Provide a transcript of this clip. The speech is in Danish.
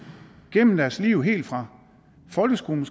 gennem deres liv helt fra folkeskolen